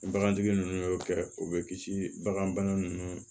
Bagantigi ninnu y'o kɛ o bɛ kisi bagan bana nunnu